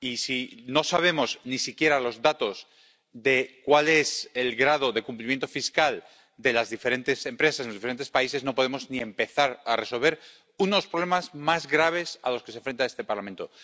Y, si no sabemos ni siquiera los datos de cuál es el grado de cumplimiento fiscal de las diferentes empresas en los de diferentes países, no podemos ni empezar a resolver unos problemas más graves a los que se enfrenta este Parlamento.